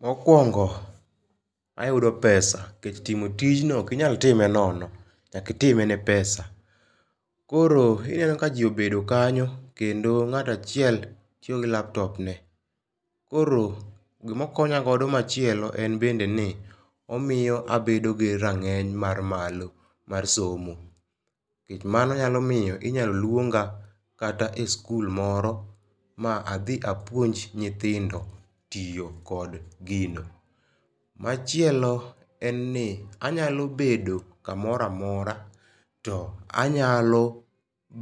Mokwongo, ayudo pesa, nikech timo tijni okinyal time nono, nyaka itime ne pesa. Koro ineno ka ji obedo kanyo, kendo ngáto achiel tiyo gi laptop ne. Koro gima okonya godo machielo en bende ni omiyo abedo gi rangény mar malo mar somo. Nikech mano nyalo miyo inyalo luonga kata e skul moro ma adhi apuonj nyithindo tiyo kod gino. Machielo en ni, anyalo bedo kamoro amora, to anyalo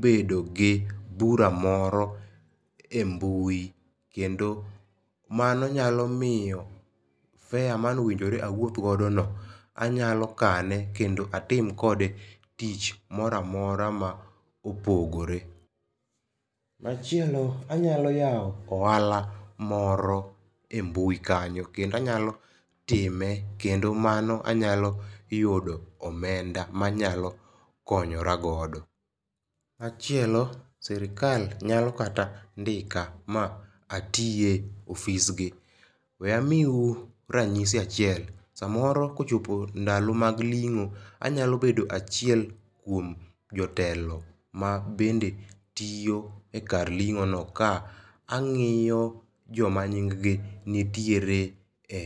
bedo gi bura moro e mbui, kendo mano nyalo miyo fare mane owinjore awuoth godo no, anyalo kane, kendo atim kode tich moro amora ma opogore. Machielo, anyalo yao ohala moro e mbui kanyo. Kendo anyalo time, kendo mano anyalo yudo omenda ma anyalo konyora godo. Machielo, sirkal nyalo kata ndika ma atie ofisgi. We amiu ranyisi achiel, samoro kochopo ndalo mag lingó, anyalo bedo achiel kuom jotelo mabende tiyo e kar lingó no, ka angíyo joma nyinggi nitiere e.